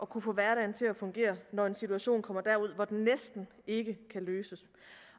kunne få hverdagen til at fungere når en situation kommer derud hvor den næsten ikke kan løses